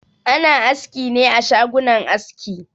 Ana askine a shagunan aski.